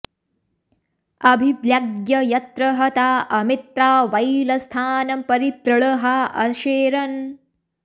अ॒भि॒व्लग्य॒ यत्र॑ ह॒ता अ॒मित्रा॑ वैलस्था॒नं परि॑ तृ॒ळ्हा अशे॑रन्